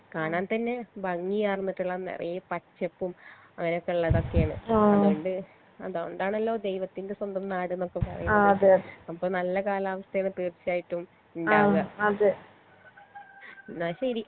കാണാൻ തന്നെ ഭംഗിയാണന്നൊക്കെള്ള നേറെയേ പച്ചപ്പും അങ്ങനൊക്കെള്ളതൊക്കെയാണ് അതോണ്ട് അതോണ്ടാണലോ ദൈവത്തിന്റെ സ്വന്തം നാട്ന്നൊക്കെ പറീണത് അപ്പൊ നല്ല കാലാവസ്ഥേനെ തീർച്ചായിട്ടും ഇണ്ടാകാ ന്നാ ശെരി